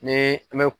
Ni an bɛ